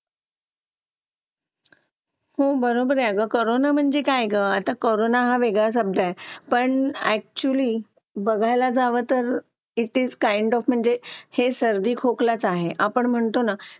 Late होतं सर्दी खोकला हा एक वाढलं आहे. एका मुलाला क्लास पूर्ण क्लास त्याच्यामध्ये वाहून निघत निघत असतो असं म्हणायला हरकत नाही. हो डेंग्यू, मलेरिया यासारखे आजार पण ना म्हणजे लसीकरण आहे. पूर्ण केले तर मला नाही वाटत आहे रोप असू शकतेपुडी लसीकरणाबाबत थोडं पालकांनी लक्ष दिलं पाहिजे की आपला मुलगा या वयात आलेला आहे. आता त्याच्या कोणत्या लसी राहिलेले आहेत का?